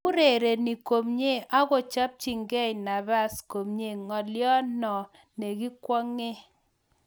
Urereni komye akochopchinigei nabas komyee-ng'alyo no ne gi kwong'ee